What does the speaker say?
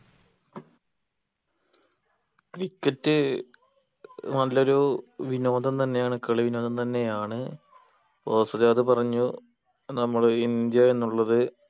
cricket നല്ലൊരു വിനോദം തന്നെയാണ് കളി വിനോദം തന്നെയാണ് ഓസിൽ അത് പറഞ്ഞു നമ്മുടെ ഇന്ത്യ എന്നുള്ളത്